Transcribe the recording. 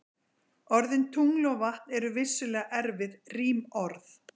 Orðin tungl og vatn eru vissulega erfið rímorð.